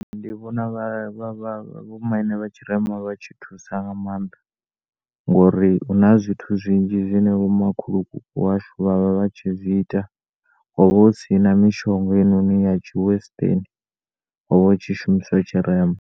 Ndi vhona vho maine vhatshirema vha tshi thusa nga maanda ngouri huna zwithu zwinzhi zwine vho makhulukuku washu vhavha vhatshi zwiita hovha hu si na mishonga ya tshi western hovha hu tshi shumiswa tshirema.